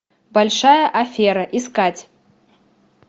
большая афера искать